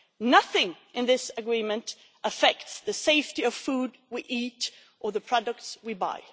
nothing in this agreement affects the safety of food we eat or the products we buy